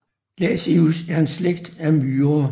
Lasius er en slægt af myrer